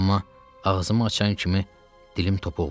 Amma ağzımı açan kimi dilim topuq vurdu.